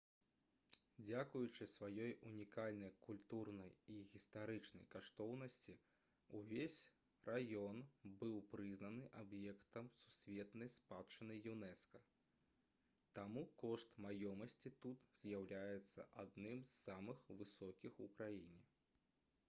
дзякуючы сваёй унікальнай культурнай і гістарычнай каштоўнасці ўвесь раён быў прызнаны аб'ектам сусветнай спадчыны юнэска таму кошт маёмасці тут з'яўляецца адным з самых высокіх у краіне